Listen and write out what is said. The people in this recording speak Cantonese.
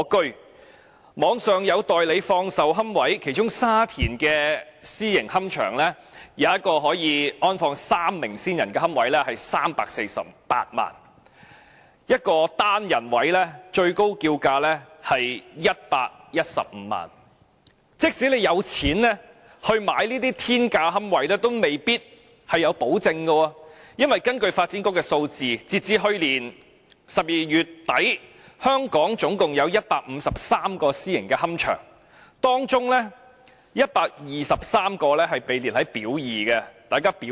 互聯網上有放售龕位，其中沙田有私營龕場一個可安放3位先人骨灰的龕位是348萬元 ，1 個單人位最高叫價是115萬元，即使你有錢買這些天價龕位，也未必有保證，因為根據發展局的數字，截至去年12月底，香港總共有153個私營龕場，當中123個被列入"表二"。